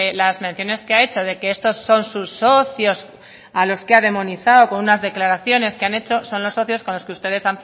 las menciones que ha hecho de que estos son sus socios a los que ha demonizado con unas declaraciones que han hecho son los socios con los que ustedes